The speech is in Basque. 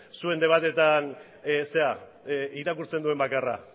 zuen debateetan irakurtzen duen bakarra